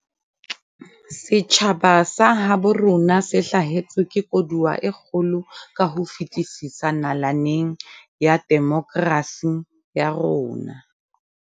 Setjhaba sa habo rona se hlahetswe ke koduwa e kgolo ka ho fetisisa nalaneng ya demokrasi ya rona.